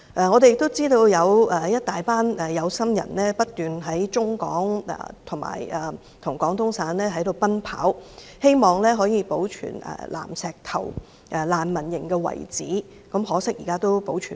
我們亦知道，有些有心人不斷在香港與廣東省之間奔走，希望保存南石頭難民營的遺址可惜，現在已無法保存。